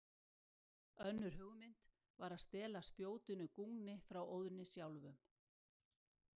Önnur hugmynd var að stela spjótinu Gungni frá Óðni sjálfum.